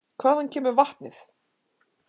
Hvaðan kemur vatnið?